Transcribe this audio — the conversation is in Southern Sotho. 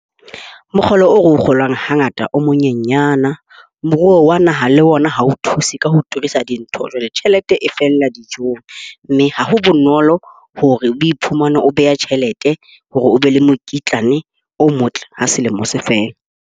Mokgolo oo re o kgolang hangata o monyenyana. Moruo wa naha le ona ha o thuse ka ho turisa dintho. Jwale tjhelete e fella dijong. Mme ha ho bonolo hore o iphumane o beha tjhelete hore o be le mokitlane o motle ha selemo se fela.